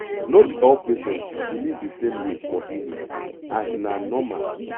no be all patient believe the same way for healing and na normal